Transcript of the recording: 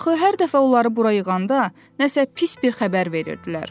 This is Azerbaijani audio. Axı hər dəfə onları bura yığanda nəsə pis bir xəbər verirdilər.